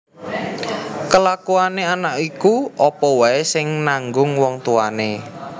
Kelakuané anak iku apa waé sing nanggung wong tuwané